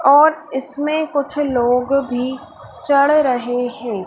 और इसमें कुछ लोग भी चढ़ रहे हैं।